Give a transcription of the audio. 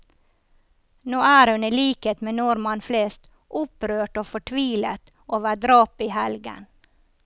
Nå er hun i likhet med nordmenn flest opprørt og fortvilet over drapet i helgen.